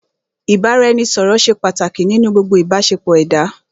Ìbáraẹnisọ̀rọ̀ ṣé pàtàkì nínú gbogbo ìbáṣepọ̀ ẹ̀dá.